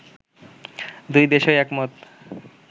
দুই দেশই একমত